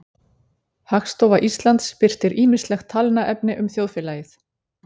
Hagstofa Íslands birtir ýmislegt talnaefni um þjóðfélagið.